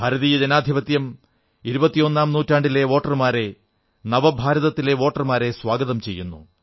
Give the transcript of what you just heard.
ഭാരതീയ ജനാധിപത്യം ഇരുപത്തിയൊന്നാംനൂറ്റാണ്ടിലെ വോട്ടർമാരെ നവഭാരതത്തിലെ വോട്ടർമാരെ സ്വാഗതം ചെയ്യുന്നു